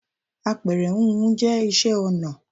Àpẹrẹ húnhun jẹ́ isẹ́ ọnà